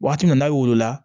Waati min na n'a wolola